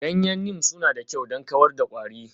Ganyen Neem suna da kyau don kawar da kwari.